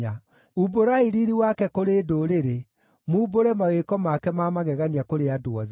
Umbũrai riiri wake kũrĩ ndũrĩrĩ, mumbũre mawĩko make ma magegania kũrĩ andũ othe.